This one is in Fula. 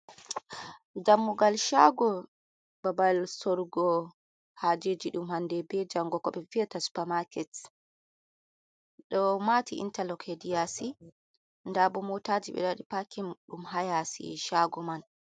Dammugal shago babal sorugo hajeji dum hande be jango ,super market do mati interloc he di yasi dabo motaji be wadi pakin dum hayasi shago man.